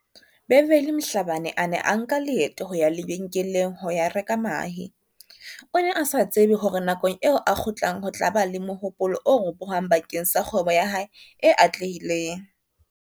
Beverly Mhlabane a ne a nka leeto ho ya lebe nkeleng ho ya reka mahe, o ne a sa tsebe hore nakong eo a kgutlang ho tla ba le mohopolo o ropohang ba keng sa kgwebo ya hae e atlehileng.